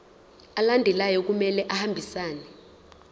alandelayo kumele ahambisane